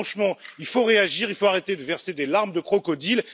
Franchement il faut réagir, il faut arrêter de verser des larmes de crocodile.